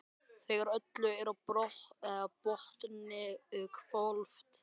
Þegar öllu er á botninn hvolft.